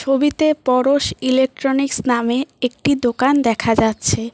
ছবিতে পরশ ইলেকট্রনিক্স নামে একটি দোকান দেখা যাচ্ছে।